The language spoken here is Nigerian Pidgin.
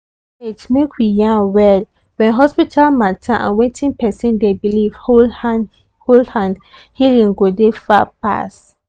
wait make we yan well when hospital matter and wetin person dey believe hold hand hold hand healing dey go far pass.